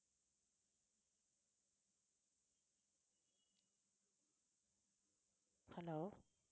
hello